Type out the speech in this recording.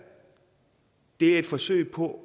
er et forsøg på